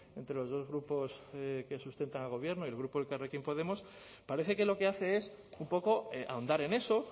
entre los dos grupos que sustentan al gobierno y el grupo elkarrekin podemos parece que lo que hace es un poco ahondar en eso